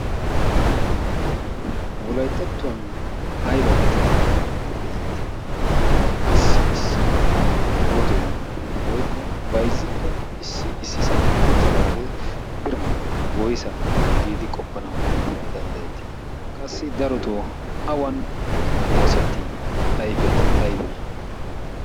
wolayttattuwan ayba geetettidi xeesettii? issi issi wotoy woykko baizzikko issi issisan uttidaagee biran woysa giidi qoppanawu danddayettii qassi darotoo awan oosettii ayfetti aybee?